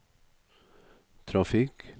trafikk